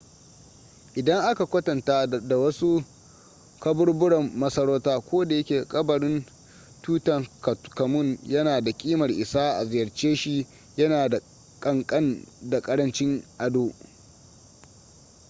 idan aka kwatanta da wasu kaburburan masarauta kodayake kabarin tutankhamun yana da ƙimar isa a ziyarce shi yana da ƙanƙan da ƙarancin ado